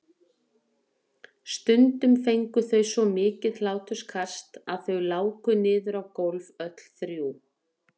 Stundum fengu þau svo mikið hláturskast að þau láku niður á gólf öll þrjú.